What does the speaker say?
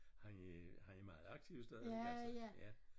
Han er han er meget aktiv stadigvæk altså ja